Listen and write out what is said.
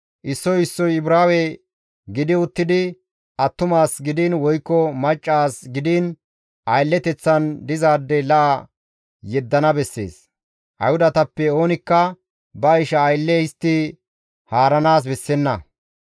Issoy issoy Ibraawe gidi uttidi attuma as gidiin woykko macca as gidiin aylleteththan dizaade la7a yeddana bessees; Ayhudatappe oonikka ba isha aylle histti haaranaas bessenna.